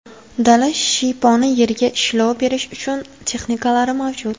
Dala shiyponi, yerga ishlov berish uchun texnikalari mavjud.